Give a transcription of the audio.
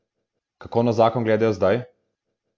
Kako na zakon gledajo zdaj?